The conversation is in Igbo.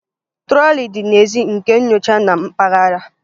Trọlị dị n'èzí nke nyocha na mpaghara